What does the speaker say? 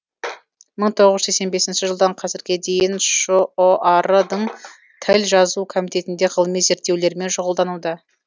мың тоғыз жүз сексен бесінші жылдан қазірге дейін шұар дың тіл жазу комитетінде ғылыми зерттеулермен шұғылдануда